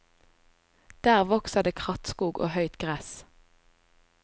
Der vokser det krattskog og høyt gress.